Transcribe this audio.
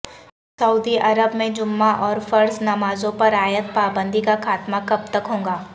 سعودی عرب میں جمعہ اور فرض نمازوں پر عائد پابندی کا خاتمہ کب تک ہوگا